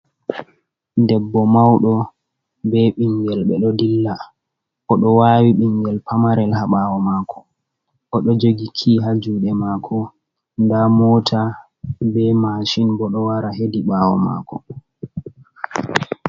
Debbo mauɗo be ɓingel ɓe ɗo dilla, o ɗo wawi ɓingel pamarel ha ɓaawo mako o ɗo jogi kii ha juuɗe mako. Nda mota be mashin bo ɗo wara hedi ɓaawo mako.